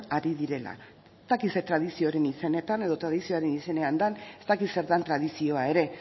ari direla ez dakit zer tradizioaren izenetan edo tradizioaren izenean ez dakit zer dan tradizioa ere